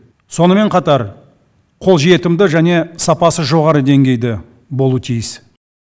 сонымен қатар қолжетімді және сапасы жоғары деңгейде болуы тиіс